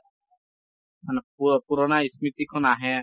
মানে পুৰ পুৰণা স্মৃতি খন আহে।